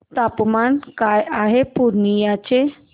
तापमान काय आहे पूर्णिया चे